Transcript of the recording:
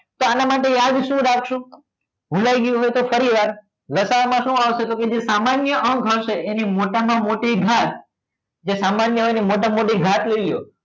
તો આના માટે યાદ શું રાખશો ભુલાઈ ગયું હોય તો ફરીવાર લસા માં શું આવશે? તો કે જે સામાન્ય અંક હશે એને મોટામાં મોટી ઘાત જે સામાન્ય હોય એને મોટામાં મોટી ઘાત હોઈએ